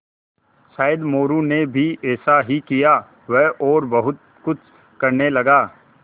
शायद मोरू ने भी ऐसा ही किया वह और बहुत कुछ करने लगा